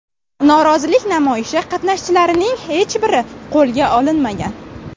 Norozilik namoyishi qatnashchilarining hech biri qo‘lga olinmagan.